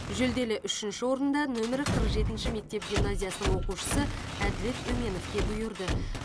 жүлделі үшінші орын да нөмірі қырық жетінші мектеп гимназиясының оқушысы әділет өменовке бұйырды